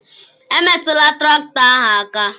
emetụla traktọ ahụ aka